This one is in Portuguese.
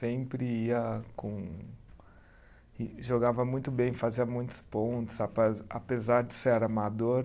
Sempre ia com. E jogava muito bem, fazia muitos pontos, ape apesar de ser amador.